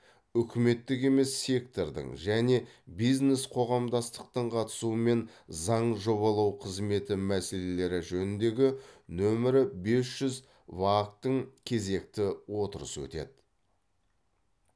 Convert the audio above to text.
үкіметтік емес сектордың және бизнес қоғамдастықтың қатысуымен заң жобалау қызметі мәселелері жөніндегі нөмірі бес жүз вак тың кезекті отырысы өтеді